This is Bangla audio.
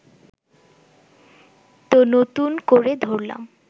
তো নতুন করে ধরলাম